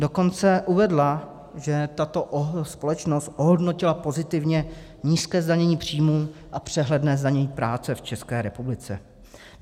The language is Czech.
Dokonce uvedla, že tato společnost ohodnotila pozitivně nízké zdanění příjmů a přehledné zdanění práce v České republice.